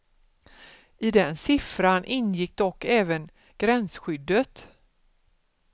I den siffran ingick dock även gränsskyddet.